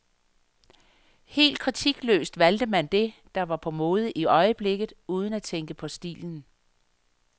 Helt kritikløst valgte man det, der var på mode i øjeblikket, uden at tænke på stilen.